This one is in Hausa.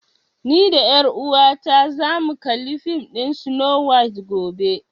Ni da ƴar uwata za mu kalli fim ɗin Snow White gobe